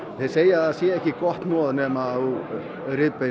þeir segja að það sé ekki gott hnoð nema þú